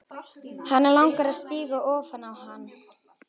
Hana langar að stíga ofan á hann.